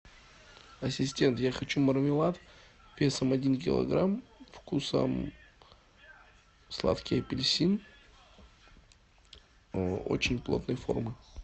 ассистент я хочу мармелад весом один килограмм вкусом сладкий апельсин очень плотной формы